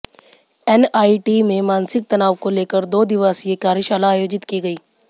NIT में मानसिक तनाव को लेकर दो दिवासीय कार्यशाला आयोजित की गयी